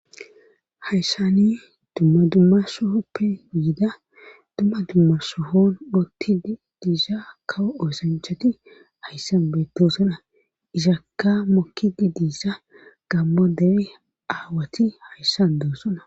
Hayssani dumma dumma sohoppe yiida dumma dumma sohoon uttidii diiza kawo oosanchchati hayssan beettoosona izakka mokkidi dee'iza gammo dere aawati hayssan doossona